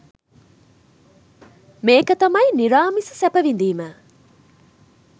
මේක තමයි නිරාමිස සැප විඳීම